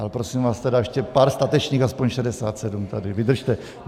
Ale prosím vás tedy, ještě pár statečných, aspoň 67, tady vydržte.